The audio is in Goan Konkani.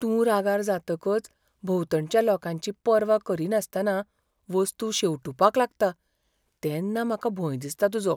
तूं रागार जातकच भोंवतणच्या लोकांची पर्वा करिनासतना वस्तू शेंवटूपाक लागता तेन्ना म्हाका भंय दिसता तुजो.